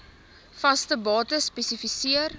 vaste bates spesifiseer